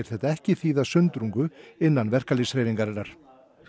þetta ekki þýða sundrung innan verkalýðshreyfingarinnar